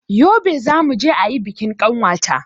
Yobe zamuje ayi bikin ƙanwata